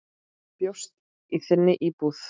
Bjóst í þinni íbúð.